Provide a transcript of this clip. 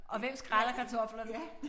Og hvem skræller kartoflerne